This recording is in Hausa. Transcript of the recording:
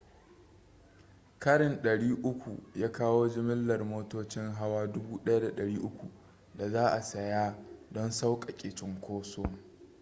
karin 300 ya kawo jimillar motocin hawa 1,300 da za a saya don sauƙaƙe cunkoson